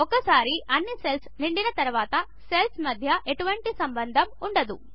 ఒకసారి అన్నీ సెల్స్ నిండిన తర్వాత సెల్స్ మధ్య ఎటువంటి సంబంధం ఉండదు